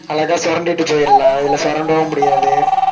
அழகா சொரண்டிட்டு போயிறலாம் இதுல சொரண்டவும் முடியாது